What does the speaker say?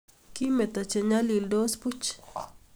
Kimeto Che nyalindos buch